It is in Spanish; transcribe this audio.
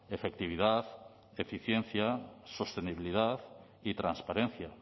efectividad eficiencia sostenibilidad y transparencia